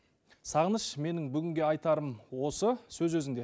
сағыныш менің бүгінге айтарым осы сөз өзіңде